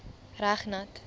reg nat